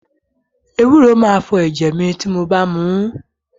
Ewúro máa fọ ẹ̀jẹ̀ mi tí mo bá muú.